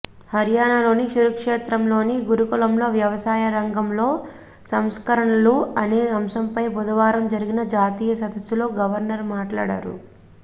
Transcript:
హర్యానాలోని కురుక్షేత్రంలోని గురుకులంలో వ్యవసాయ రంగంలో సంస్కరణలు అనే అంశంపై బుధవారం జరిగిన జాతీయ సదస్సులో గవర్నర్ మాట్లాడారు